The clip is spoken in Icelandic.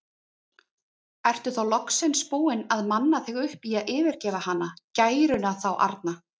Ertu þá loksins búinn að manna þig upp í að yfirgefa hana, gæruna þá arna?